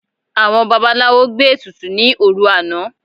Àwọn babaláwo gbé ètùtù ní òrun àná